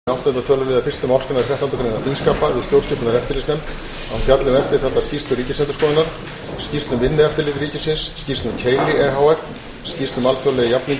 áttunda töluliðar fyrstu málsgreinar þrettándu greinar þingskapa að stjórnskipunar og eftirlitsnefnd fjalli um eftirtaldar skýrslur ríkisendurskoðunar skýrslu um vinnueftirlit ríkisins skýrslu um keili e h f skýrslu um alþjóðlega jafningjaúttekt á vinnubrögðum